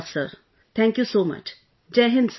Thank you so much sir...thank you so much...